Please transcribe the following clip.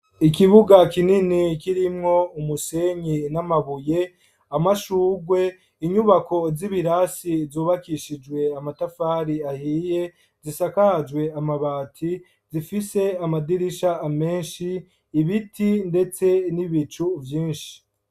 Ikibuga kinini kirimwo umusenyi n'amabuye amashurwe inyubako z'ibirasi zubakishijwe amatafari ahiye zisakajwe amabati zifise amadirisha amenshi ibiti, ndetse n'ibicu vyinshi.